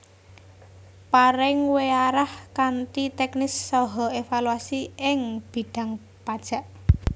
Paring weearah kanthi teknis saha evaluasi ing bidhang pajak